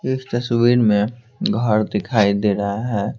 इस तस्वीर में घर दिखाई दे रहा है।